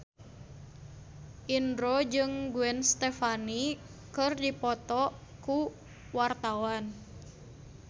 Indro jeung Gwen Stefani keur dipoto ku wartawan